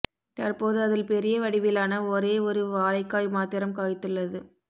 தற்போது அதில் பெரிய வடிவிலான ஒரே ஒரே வாழைக்காய் மாத்திரம் காய்த்துளளது